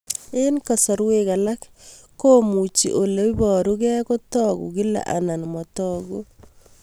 Eng' kasarwek alak komuchi ole parukei kotag'u kila anan matag'u